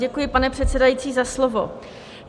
Děkuji, pane předsedající, za slovo.